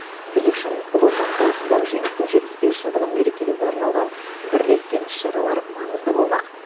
біз үшін ұлы отан соғысындағы жеңістің жетпіс бес жылдығын мерекелеуге арналған бірлескен іс шаралар маңызды болмақ